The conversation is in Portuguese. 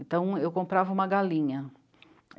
Então, eu comprava uma galinha.